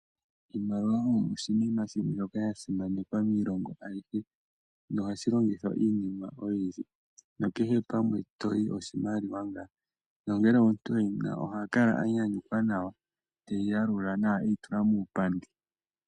Iimaliwa oyo oshinima shimwe shoka sha simanekwa miilongo ayihe, nohayi longithwa miinima oyindji, nokehe pamwe toyi oshimaliwa ngaa. Nongele omuntu e yina ohakala anyanyukwa nawa, teyi yalula e yi tula muupandi.